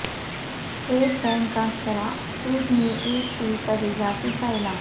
state bank کا شرح سود میں ایک فی صد اضافے کا اعلان